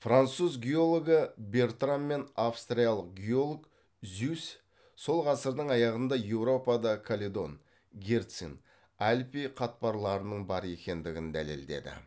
француз геологы бертран мен австриялық геолог зюсс сол ғасырдың аяғында еуропада каледон герцин альпи қатпарларының бар екендігін дәлелдеді